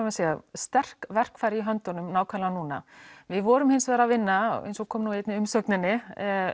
sterk verkfæri í höndunum nákvæmlega núna við vorum hins vegar að vinna eins og kom nú einnig í umsókninni